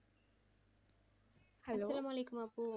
Hello?